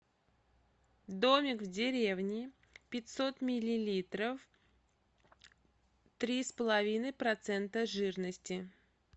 домик в деревне пятьсот миллилитров три с половиной процента жирности